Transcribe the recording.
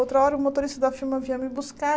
Outra hora, o motorista da firma vinha me buscar.